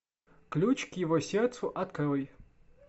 ключ к его сердцу открой